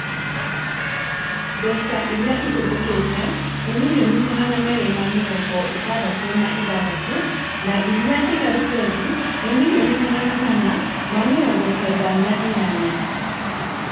Mbeca iria ihũthĩkĩte nĩ mirioni magana merĩ ma mĩrongo ĩtandatũ na ithathatũ na iria ndigaru bengi ni mirioni magana mana ma mĩrongo kenda na inyanya